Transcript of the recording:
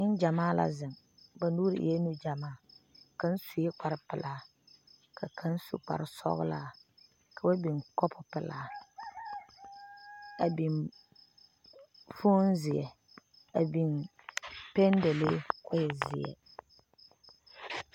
Nengyamaa la zeŋ, ba nuuri eɛ nu gyamaa kaŋ sue kpare pɛlaa ka kaŋ su kpare sɔglaa ka ba biŋ kɔpo pɛlaa a biŋ fone, zeɛ a biŋ pɛn dale kɔ e zeɛ